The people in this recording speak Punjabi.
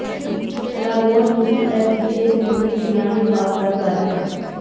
ਲਾਗੋਨ ਯੂਸੀਐਸਬੀ ਦੇ ਸਮੁੰਦਰੀ ਵਿਗਿਆਨ ਵਿਭਾਗ ਦਾ ਘਰ ਹੈ